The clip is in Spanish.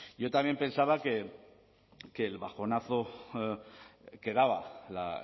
yo también pensaba que el bajonazo que daba la